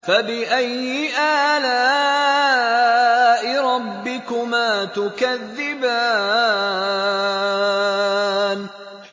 فَبِأَيِّ آلَاءِ رَبِّكُمَا تُكَذِّبَانِ